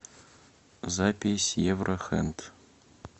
запись евро хенд